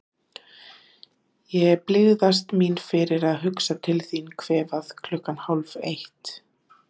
Ég blygðast mín fyrir að hugsa til þín kvefað klukkan hálfeitt.